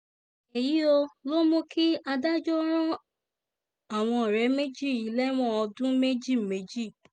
èyío ló mú kí adájọ́ ran àwọn ọ̀rẹ́ méjì yìí lẹ́wọ̀n ọdún méjì méjì